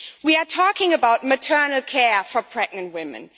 We are talking about maternity care for pregnant women.